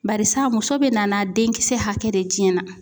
Barisa muso bɛ nana denkisɛ hakɛ de tiɲɛna